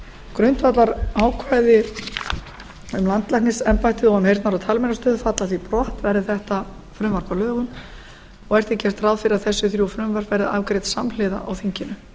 grundvallarákvæði um landlæknisembættið og um heyrnar og talmeinastöð falla því brott verði þetta frumvarp að lögum og er því gert ráð fyrir að þessi þrjú frumvörp verði afgreidd samhliða á þinginu